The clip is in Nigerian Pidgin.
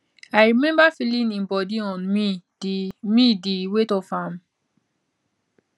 i remember feeling im body on me di me di weight of am